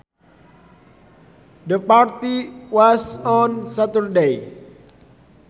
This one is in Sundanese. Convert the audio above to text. The party was on Saturday